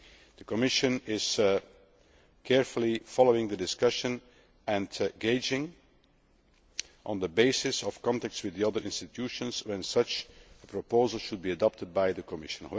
The Commission is carefully following the discussion and gauging, on the basis of contacts with the other institutions, when such a proposal should be adopted by the Commission.